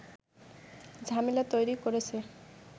ঝামেলা তৈরি করেছে